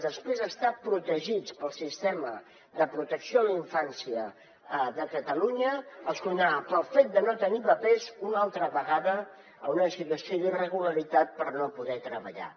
després d’estar protegits pel sistema de protecció a la infància de catalunya els condemnava pel fet de no tenir papers una altra vegada a una situació d’irregularitat per no poder treballar